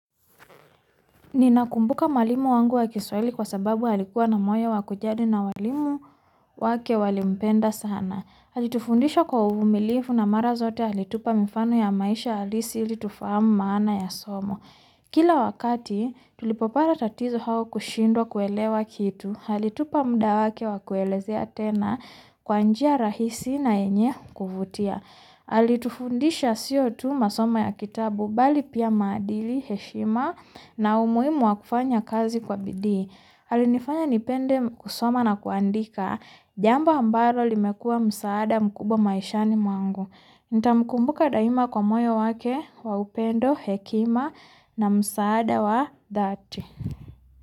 Nina kumbuka mwalimu wangu wa Kiswali kwa sababu alikuwa na moyo wa kujadi na walimu wake wali mpenda sana. Ali tufundisha kwa uvumilifu na mara zote alitupa mifano ya maisha halisi ili tufahamu maana ya somo. Kila wakati tulipopara tatizo hau kushindwa kuelewa kitu, hali tupamuda wake wakulelezea tena kwanjia rahisi na yenye kuvutia. Ali tufundisha sio tu masomo ya kitabu bali pia maadili heshima na umuhimu wa kufanya kazi kwa bidii. Alinifanya nipende kusoma na kuandika. Jambo hambaro limekuwa msaada mkubwa maishani mwangu. Nita mkumbuka daima kwa moyo wake wa upendo hekima na msaada wa dhati.